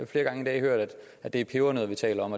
flere gange i dag hørt at det er pebernødder vi taler om